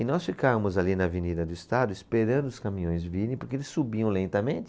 E nós ficávamos ali na Avenida do Estado esperando os caminhões virem, porque eles subiam lentamente,